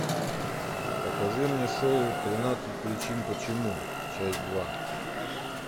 покажи мне шоу тринадцать причин почему часть два